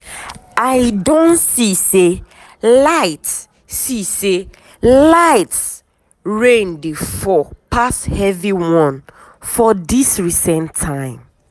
i don see say light see say light rain dey fall pass heavy one for this recent time.